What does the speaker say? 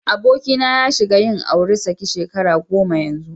Abokina ya shiga yin auri saki shekara goma yanzu.